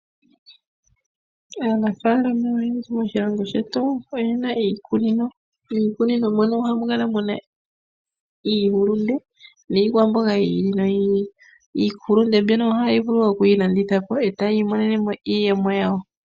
Aanafaalama oyendji moshilongo shetu oye na iikunino, miikunino mo no oha mu kala muna iihulunde niikwamboga yi ili noyi ili, iihulunde mbyono oha ye yi vulu oku yi landitha po e ta ya imonene mo iiyemo yawo.